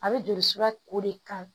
A bɛ joli sira ko de kan